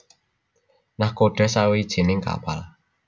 Nakhoda sawijining kapal